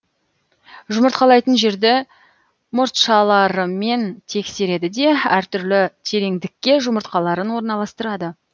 жұмыртқалайтын жерді мұртшаларымен тексереді де әр түрлі тереңдікке жұмыртқаларын орналастырады